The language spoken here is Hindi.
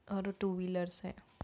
और टू विलर्स है।